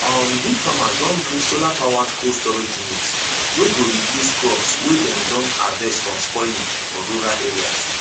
um big farmers don bring solarpowered cold storage unit wey go reduce crops wey dem don harvest from spoiling for rural area